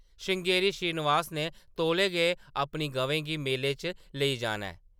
श्रृंगेरी श्रीनिवास ने तौले गै अपनी गवें गी मेले च लेई जाना ऐ ।